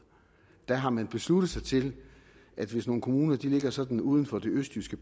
der har man besluttet sig til at hvis nogle kommuner ligger sådan uden for det østjyske